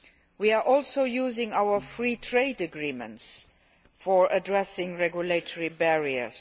We are also using our free trade agreements to address regulatory barriers.